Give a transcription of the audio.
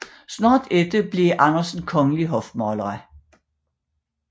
Snart efter blev Andersen kongelig hofmaler